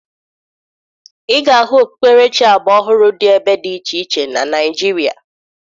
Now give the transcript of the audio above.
Ị ga-ahụ okpukperechi agbaọhụrụ dị ebe dị iche iche na Naịjirịa